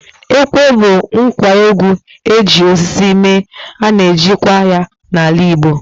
Ekwe bụ ngwa egwú eji osisi mee, ana eji kwa ya n'ala Igbo.